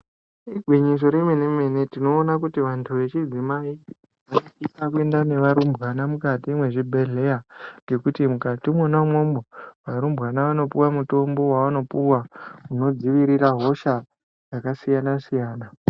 Igwinyiso remene-mene tinoona kuti vantu vechidzimai vanosisa kuenda nevarumbwana mukati mwezvibhedhleya. Ngekuti mukati imwona imwomwo varumbwana vanopuva mutombo vavanopuva unodzivirira hosha dzakasiyana-siyana.